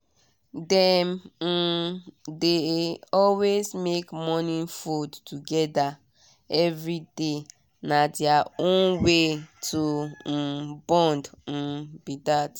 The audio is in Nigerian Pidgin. dem um dey always make morning food together every day na their own way to um bond um be that.